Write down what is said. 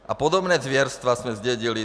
A podobná zvěrstva jsme zdědili.